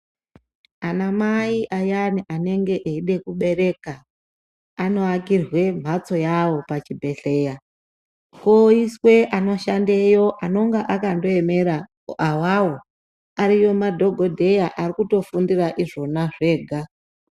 Anamai ayani anenge eide kubereka anoakirwe mhatso yavo pachibhehleya. Poiswe anoshandeyo anenge akandoemera awawo. Ariyo madhogodheya arikutofundira izvona zvega.